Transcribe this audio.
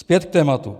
Zpět k tématu.